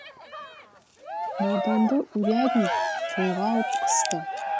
марданды урядник қолға алып қысты